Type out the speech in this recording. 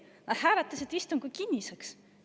Nad hääletasid istungi kinniseks.